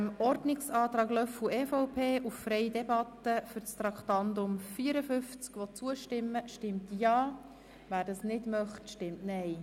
Wer diesen unterstützt, stimmt Ja, wer diesen ablehnt, stimmt Nein.